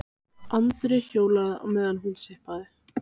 Andri hjólaði á meðan hún sippaði.